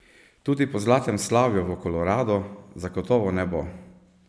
Tudi po zlatem slavju v Koloradu zagotovo ne bo.